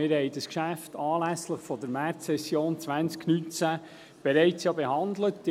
Wir haben dieses Geschäft anlässlich der Märzsession 2019 ja bereits behandelt.